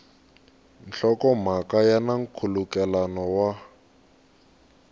nhlokomhaka ya na nkhulukelano wa